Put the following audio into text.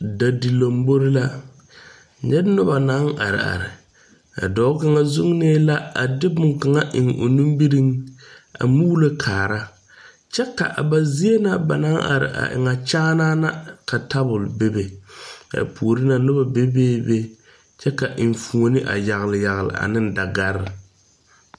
Da di lombɔre la. Nyɛ nobɔ naŋ are are. Ka dɔɔ kanga zunnɛ la a de boŋ kanga eŋ o nimireŋ a muulo kaara. Kyɛ ka a ba zie ŋa ba naŋ are a eŋɛ, kyaana na ka tabul bebe. Ba poore ŋa, nobɔ bebe be kyɛ ka eŋfuone a yagle yagle ane dagar